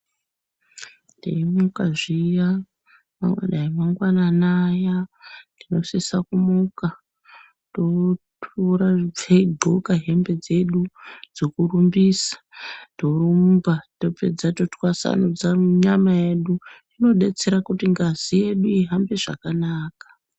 tei muka zviya ungadai mangwanani aya unosisa kumuka totora topfe todhloka hembe dzedu dzokurumbisa. Torumba topedza totwasanudza nyama yedu zvinobetsera kuti ngazi yedu ihambe zvakanaka.